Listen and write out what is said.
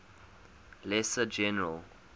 lesser general